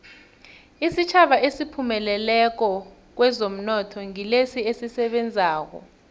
isitjhaba esiphumelelako kwezomnotho ngilesi esisebenzako